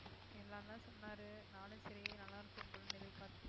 எல்லாரும் தான் சொன்னாரு நானும் சரி நல்லா இருக்கும் போலன்னு எதிர்பார்த்துட்டே